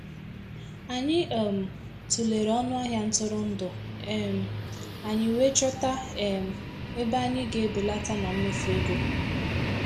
Anyị um tụlere ọnụ ahịa ntụrụndụ um anyị wee chọta um ebe anyị ga-ebelata na mmefu ego.